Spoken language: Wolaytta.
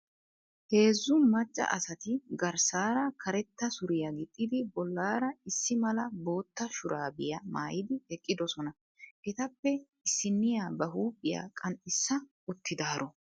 Heezzu macca asati garssaara karetta suriya gixxidi bollaara issi mala bootta shuraabiya mayidi eqqidosona. Etappe issinniya ba huuphiya qanxxissa uttidaaro.